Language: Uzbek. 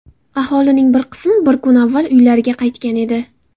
Aholining bir qismi bir kun avval uylariga qaytgan edi .